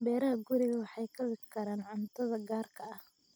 Beeraha gurigu waxay kabi karaan cuntada gaarka ah.